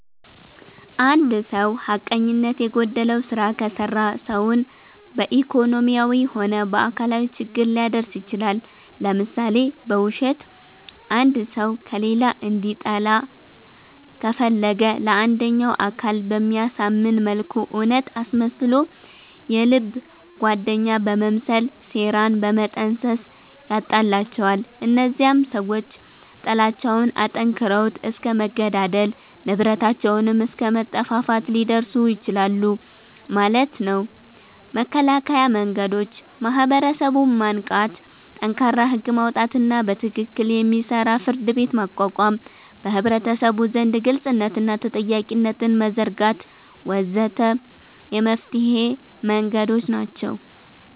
እንድ ሰዉ ሐቀኝነት የጎደለዉ ስራ ከሰራ ሰዉን በኢኮኖሚያዊም ሆነ በአካላዊ ችግር ሊያደርስ ይችላል ለምሳሌ፦ በዉሸት አንድ ሰዉ ከሌላ እንዲጣላ ከፈለገ ለአንደኛዉ አካል በሚያሳምን መልኩ እዉነት አስመስሎ የልብ ጓደኛ በመምሰል ሴራን በመጠንሰስ ያጣላቸዋል እነዚያም ሰዎች ጥላቻዉን አጠንክረዉት እስከ መገዳደል፣ ንብረታቸዉንም አስከ መጠፋፋት ሊደርሱ ይችላሉ ማለት ነዉ። መከላከያ መንገዶች፦ ማህበረሰቡን ማንቃት፣ ጠንካራ ህግ ማዉጣትና በትክክል የሚሰራ ፍርድቤት ማቋቋም፣ በህብረተሰቡ ዘንድ ግልፅነትንና ተጠያቂነትን መዘርጋት ወ.ዘ.ተ የመፍትሔ መንገዶች ናቸዉ።